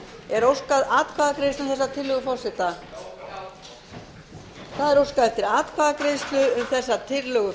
er óskað atkvæðagreiðslu um þessa tillögu forseta já það er óskað eftir atkvæðagreiðslu um þessa tillögu